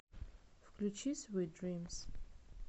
включи свит дримс